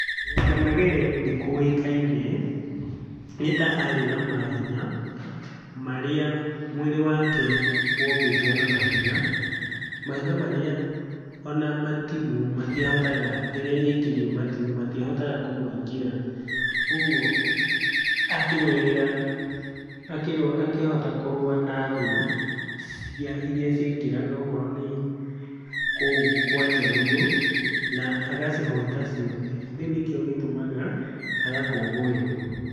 Lwanda Magere nĩkũĩkaine nĩ ta arĩ na mahinya, marĩa mwĩrĩ wake wombĩtwo na mahiga. Mahiga marĩa ona matimũ matiahotaga rĩrĩa aikĩrio matimũ matiahotaga kũmũingĩra. Ũguo akĩrũĩrĩra akĩhota kũrũa na thũ irĩa ciaingagĩra okorwo nĩ kũu kwa njaruo, na agacihota ciothe. Rĩu nĩkĩo gĩtũmaga agakũngũĩrwo.